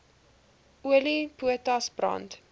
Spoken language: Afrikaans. olie potas brand